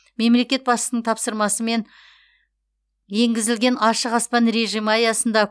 мемлекет басшысының тапсырмасымен енгізілген ашық аспан режимі аясында